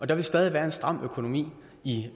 der vil stadig være en stram økonomi i